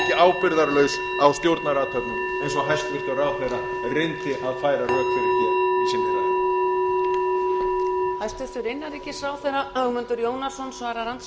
ábyrgðarlaus á stjórnarathöfnum eins og hæstvirtur ráðherra reyndi að færa rök fyrir í sinni ræðu